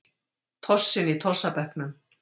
Tossinn í tossabekknum.